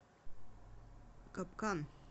капкан